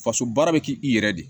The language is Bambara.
Faso baara bɛ kɛ i yɛrɛ de ye